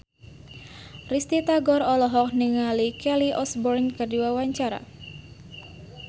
Risty Tagor olohok ningali Kelly Osbourne keur diwawancara